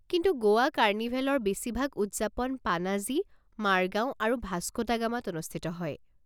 কিন্তু গোৱা কাৰ্নিভেলৰ বেছিভাগ উদযাপন পানাজি, মাৰগাও আৰু ভাস্ক' ডা গামাত অনুষ্ঠিত হয়।